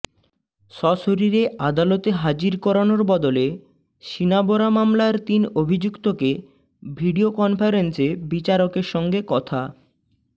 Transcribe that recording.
সশরীরে আদালতে হাজির করানোর বদলে শিনা বরা মামলার তিন অভিযুক্তকে ভিডিও কনফারেন্সে বিচারকের সঙ্গে কথা